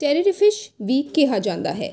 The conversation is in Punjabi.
ਟਰਰਿਫਿਸ਼ ਵੀ ਕਿਹਾ ਜਾਂਦਾ ਹੈ